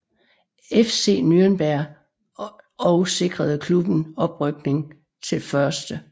FC Nürnberg og sikrede klubben oprykning til 1